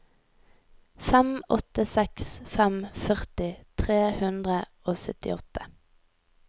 fem åtte seks fem førti tre hundre og syttiåtte